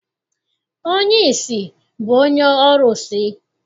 Onye ìsì bụ onye ọrụsị.